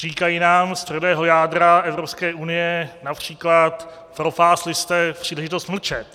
Říkají nám z tvrdého jádra Evropské unie například: propásli jste příležitost mlčet.